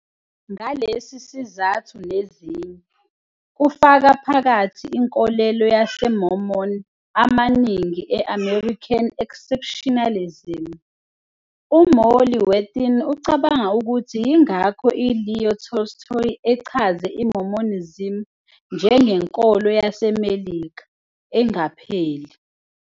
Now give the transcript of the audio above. Ngalesi sizathu nezinye, kufaka phakathi inkolelo yamaMormon amaningi e- American exceptionalism, uMolly Worthen ucabanga ukuthi yingakho uLeo Tolstoy echaze iMormonism "njengenkolo 'yaseMelika" engapheli.